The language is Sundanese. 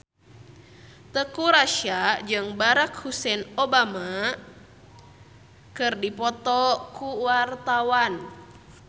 Teuku Rassya jeung Barack Hussein Obama keur dipoto ku wartawan